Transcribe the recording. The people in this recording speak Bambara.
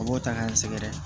A b'o ta k'an sɛgɛrɛ